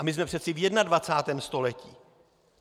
A my jsme přece v 21. století.